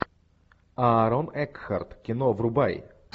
аарон экхарт кино врубай